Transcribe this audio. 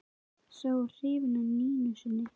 Sá var hrifinn af Nínu sinni.